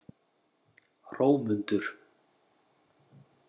Hrómundur